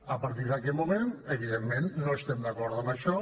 a partir d’aquest moment evidentment no estem d’acord amb això